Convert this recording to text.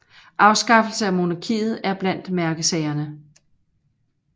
Afskaffelse af monarkiet er blandt mærkesagerne